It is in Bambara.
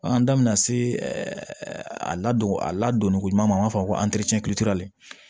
Bagan da bina se a ladon a ladonni ko ɲuman b'a fɔ